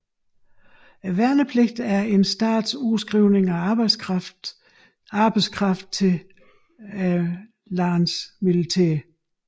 Værnepligt er en stats udskrivning af arbejdskraft til landets militær